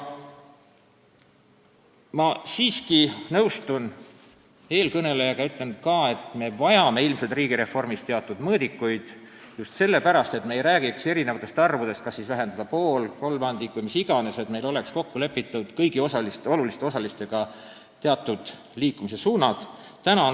Ma siiski nõustun eelkõnelejaga ja ütlen ka, et me vajame ilmselt riigireformis teatud mõõdikuid, kas või sellepärast, et me ei räägiks erinevatest arvudest, kas vähendada pool, kolmandik või mis iganes, vaid meil oleks kõigi oluliste osalistega kokku lepitud teatud liikumissuunad.